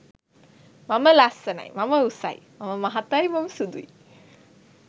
මම ලස්සනයි, මම උසයි, මම මහතයි, මම සුදුයි